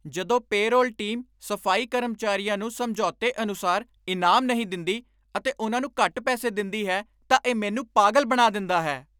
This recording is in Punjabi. ਜਦੋਂ ਪੇਰੋਲ ਟੀਮ ਸਫ਼ਾਈ ਕਰਮਚਾਰੀਆਂ ਨੂੰ ਸਮਝੌਤੇ ਅਨੁਸਾਰ ਇਨਾਮ ਨਹੀਂ ਦਿੰਦੀ ਅਤੇ ਉਨ੍ਹਾਂ ਨੂੰ ਘੱਟ ਪੈਸੇ ਦਿੰਦੀ ਹੈ ਤਾਂ ਇਹ ਮੈਨੂੰ ਪਾਗਲ ਬਣਾ ਦਿੰਦਾ ਹੈ ।